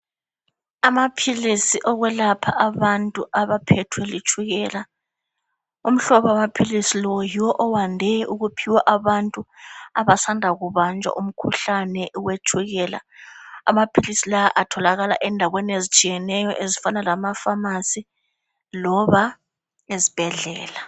Amaphilisi okwelapha abantu abaphethwe yitshukela umhlobo wamaphilisi lo yiwo owande ukuphiwa abantu abasanda kubanjwa umkhuhlane wetshukela amaphilisi la atholakala endaweni ezitshiyeneyo ezifana lamafamasi loba ezibhedlela.